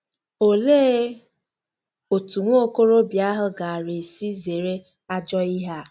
Olee otú nwa okorobịa ahụ gaara esi zere ajọ ihe a?